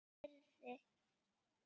Senn heyrði